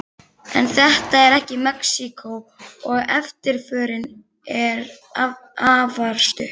En þetta er ekki Mexíkó, og eftirförin er afar stutt.